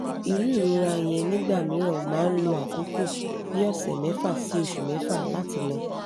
iru ìrora yẹn nigbamiran ma n lo akoko bi ọ̀sẹ̀ mẹ́fà si oṣù mẹ́fà lati lo